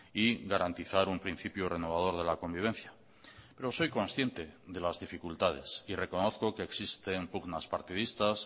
y garantizar un principio renovador de la convivencia pero soy consciente de las dificultades y reconozco que existen pugnas partidistas